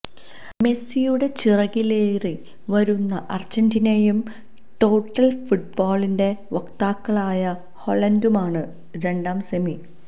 മെസ്സിയുടെ ചിറകിലേറി വരുന്ന അര്ജന്റീനയും ടോട്ടല് ഫുട്ബോളിന്റെ വക്താക്കളായ ഹോളണ്ടുമാണ് രണ്ടാം സെമി